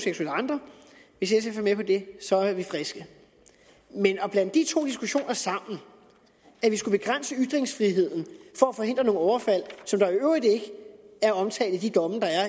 andre hvis sf er med på det så er vi friske men at blande de to diskussioner sammen at vi skulle begrænse ytringsfriheden for at forhindre nogle overfald der i øvrigt ikke er omtalt i de domme der er